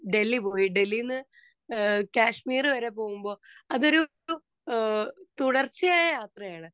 speaker 2 Delhi പോയി ഡൽഹിയിൽനിന്ന് ഏഹ് കാശ്മീർ വരെ പോകുമ്പോൾ അതൊരു തുടർച്ചയായ യാത്രയാണ്